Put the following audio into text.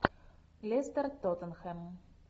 лестер тоттенхэм